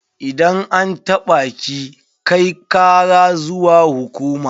Idan an taɓa ki, kai kara zuwa hukuma.